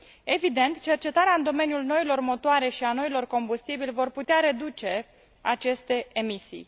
Evident, cercetarea în domeniul noilor motoare și a noilor combustibili va putea reduce aceste emisii.